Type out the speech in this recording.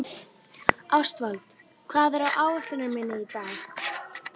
Ástvald, hvað er á áætluninni minni í dag?